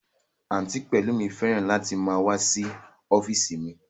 Àǹtí Pẹlumi fẹ́ràn láti máa wá sí ọ́físì mi